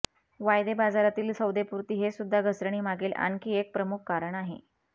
वायदे बाजारातील सौदेपूर्ती हेसुद्धा घसरणीमागील आणखी एक प्रमुख कारण आहे